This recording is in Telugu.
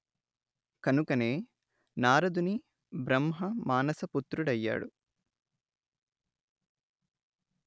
కనుకనే నారదుని బ్రహ్మ మానస పుత్రుడయ్యాడు